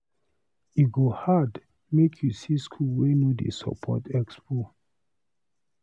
E go hard make you see school wey no dey support expo.